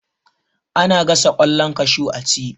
Ana gasa ƙwallon kashu a ci